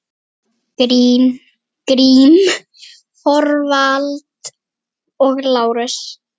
Grím, Þorvald og Lárus.